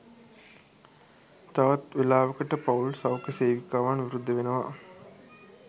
තවත් වෙලාවකට පවුල් සෞඛ්‍ය සේවිකාවන් විරුද්ධ වෙනවා